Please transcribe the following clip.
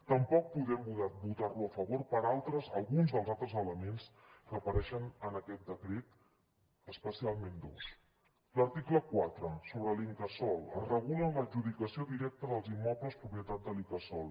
tampoc podem votar lo a favor per alguns dels altres elements que apareixen en aquest decret especialment dos l’article quatre sobre l’incasòl es regula l’adjudicació directa dels immobles propietat de l’incasòl